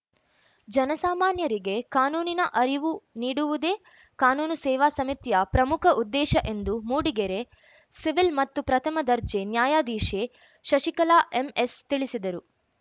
ಜನಸಾಮಾನ್ಯರಿಗೆ ಕಾನೂನಿನ ಅರಿವು ನೀಡುವುದೇ ಕಾನೂನು ಸೇವಾ ಸಮಿತಿಯ ಪ್ರಮುಖ ಉದ್ದೇಶ ಎಂದು ಮೂಡಿಗೆರೆ ಸಿವಿಲ್‌ ಮತ್ತು ಪ್ರಥಮ ದರ್ಜೆ ನ್ಯಾಯಾಧೀಶೆ ಶಶಿಕಲಾ ಎಂಎಸ್‌ ತಿಳಿಸಿದರು